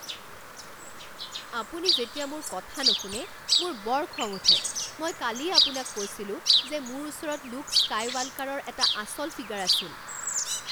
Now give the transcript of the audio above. আপুনি যেতিয়া মোৰ কথা নুশুনে মোৰ বৰ খং উঠে। মই কালিয়েই আপোনাক কৈছিলো যে মোৰ ওচৰত লুক স্কাইৱাল্কাৰৰ এটা আচল ফিগাৰ আছিল।